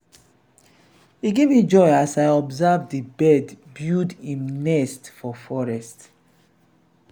e give me joy as i observe di bird build im nest for forest.